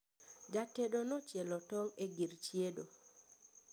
jatedo nochielo tong' e gir chiedo